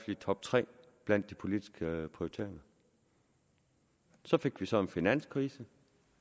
i toptre blandt de politiske prioriteringer så fik vi så en finanskrise